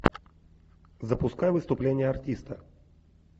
запускай выступление артиста